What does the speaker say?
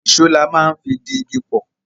Ìṣó la máa ń fi di igi pọ̀